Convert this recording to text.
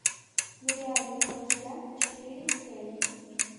нереальный холостяк четыре кей